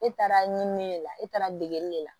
E taara ɲinini de la e taara degeli de la